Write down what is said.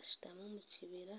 ashutami omu kibira